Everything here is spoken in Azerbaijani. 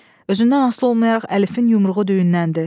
Özündən asılı olmayaraq Əlifin yumruğu düyünləndi.